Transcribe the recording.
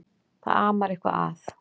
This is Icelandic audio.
Það amar eitthvað að.